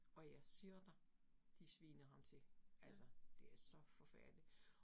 Og jeg siger dig, de sviner ham til. Altså det er så forfærdeligt